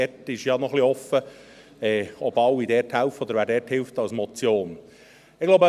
Dort ist ja noch ein wenig offen, ob alle mithelfen oder wer dort der Motion hilft.